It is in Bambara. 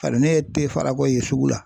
Bari ne ye farakɔ ye sugu la